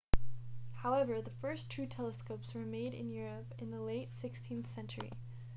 however the first true telescopes were made in europe in the late 16th century